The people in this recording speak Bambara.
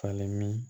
Falen min